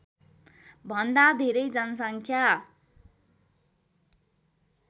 भन्दा धेरै जनसङख्या